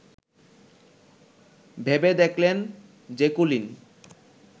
ভেবে দেখলেন জেকুলিন